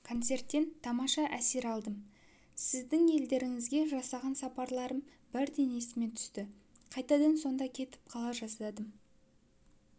концерттен тамаша әсер алдым сіздің елдеріңізге жасаған сапарларым бірден есіме түсті қайтадан сонда кетіп қала жаздадым